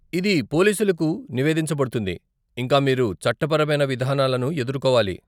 ఇది పోలీసులకు నివేదించబడుతుంది, ఇంకా మీరు చట్టపరమైన విధానాలను ఎదుర్కోవాలి.